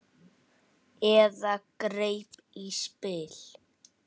Eða greip í spil.